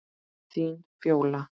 Þín Fjóla.